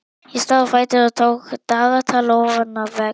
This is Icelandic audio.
Ég stóð á fætur og tók dagatal ofan af vegg.